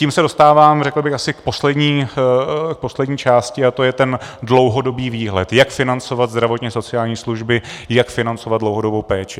Tím se dostávám, řekl bych, asi k poslední části a to je ten dlouhodobý výhled, jak financovat zdravotně sociální služby, jak financovat dlouhodobou péči.